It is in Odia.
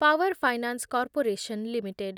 power finance corporation limited